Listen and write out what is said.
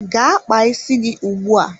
Gaa kpaa isi gị ugbu a!